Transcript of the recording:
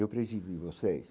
Eu preciso de vocês.